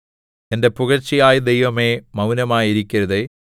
എന്റെ പുകഴ്ചയായ ദൈവമേ മൗനമായിരിക്കരുതേ